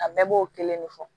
A bɛɛ b'o kelen de fɔ